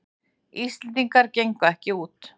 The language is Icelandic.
Íslendingar gengu ekki út